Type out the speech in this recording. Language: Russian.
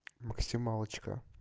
максималочка